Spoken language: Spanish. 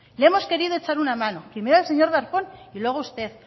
le hemos querido echar una mano primero al señor darpón y luego a usted